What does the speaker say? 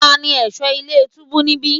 Tani ẹ̀ṣọ́ ilé túbú níbí?